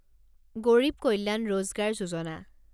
Garib Kalyan Rozgar Yojana